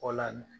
O la